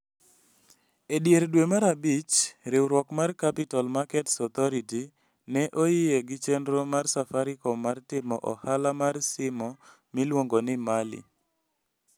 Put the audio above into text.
E dier dwe mar abich, riwruok mar Capital Markets Authority ne oyie gi chenro mar Safaricom mar timo ohala mar simo miluongo ni Mali.